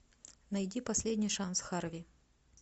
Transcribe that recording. найди последний шанс харви